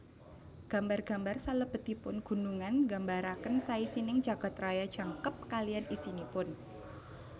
Gambar gambar salebetipun gunungan nggambaraken saisining jagad raya jangkep kaliyan isinipun